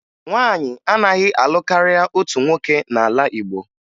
Nwaanyị anaghị alụ karịa otu nwoke n'ala Igbo